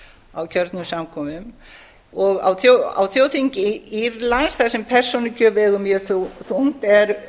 á kjörnum samkomum og á þjóðþingi írlands þar sem persónukjör vegur mjög þungt er